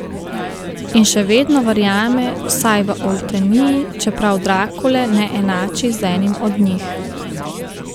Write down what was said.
In še vedno verjame, vsaj v Olteniji, čeprav Drakule ne enači z enim od njih.